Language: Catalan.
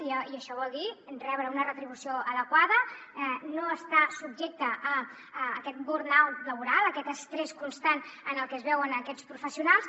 i això vol dir rebre una retribució adequada no estar subjectes a aquest burnout laboral a aquest estrès constant en el que es veuen aquests professionals